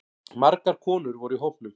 Margar konur voru í hópnum